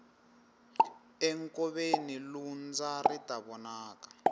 enkoveni lundza ri ta vonaka